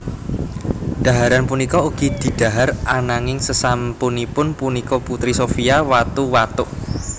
Dhaharan punika ugi didhahar ananging sesampunipun punika Putri Sophia watu watuk